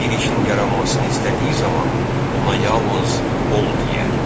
Bir işin yaranmasını istədiyi zaman ona yalnız "Ol!" deyər.